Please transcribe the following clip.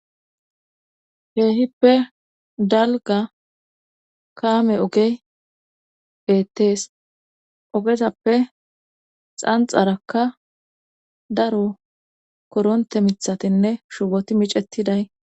Keehippe dalga kaame ogey bettees ogezappe xanxarakka daro koronte mithatinne shuboti micettiday